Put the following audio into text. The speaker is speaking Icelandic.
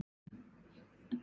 Alger skræfa eða hvað?